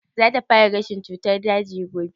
Za ta fara gashin cutar daji gobe?